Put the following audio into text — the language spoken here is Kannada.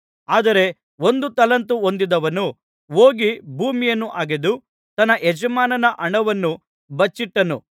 ಆದರೆ ಒಂದು ತಲಾಂತು ಹೊಂದಿದವನು ಹೋಗಿ ಭೂಮಿಯನ್ನು ಅಗೆದು ತನ್ನ ಯಜಮಾನನ ಹಣವನ್ನು ಬಚ್ಚಿಟ್ಟನು